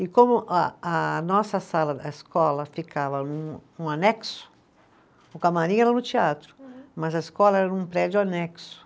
E como a a nossa sala da escola ficava num anexo, o camarim era no teatro, mas a escola era um prédio anexo.